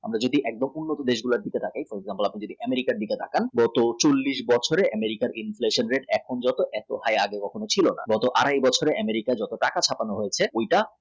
যদি একদম উন্নত দেশগুলো দিকে তাকিয়ে Europe America র তাকান নয় গত চল্লিশ বছরে inflation rate এখন যত এত high আগে কখনো ছিল না। গত আড়াই বছরের America যত টাকা ছাপানো হয়েছে